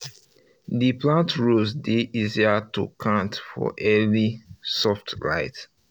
the plant rows dey easier to count for early soft light